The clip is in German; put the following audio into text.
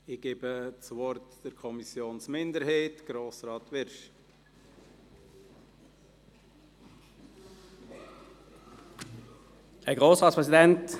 Ich erteile für die Kommissionsminderheit Grossrat Wyrsch das Wort.